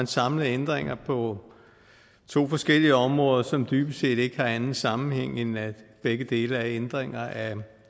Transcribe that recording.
samlet ændringer på to forskellige områder som dybest set ikke har nogen anden sammenhæng end at begge dele er ændringer af